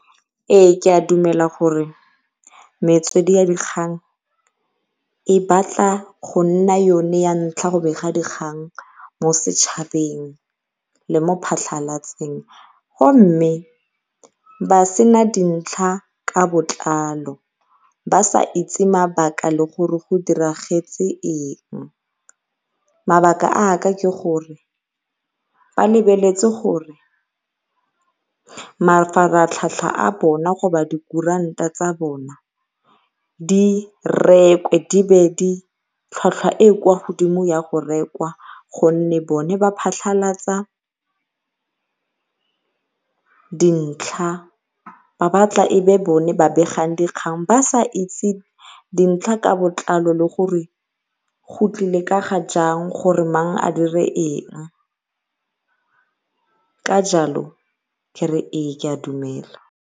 Ee ke a dumela gore metswedi ya dikgang e batla go nna yone ya ntlha go bega dikgang mo setšhabeng le mo phatlhalatseng, go mme ba sena dintlha ka botlalo ba sa itse mabaka le gore go diragetse eng. Mabaka a ka ke gore ba lebeletse gore mafaratlhatlha a bona dikuranta tsa bona di rekwe tlhwatlhwa e e kwa godimo ya go rekwa. Gonne bone ba phatlhalatsa dintlha ba batla bone ba begang dikgang ba sa itse dintlha ka botlalo le gore go tlile ka ga jang gore mang a dire eng ka jalo ke re ee ke a dumela.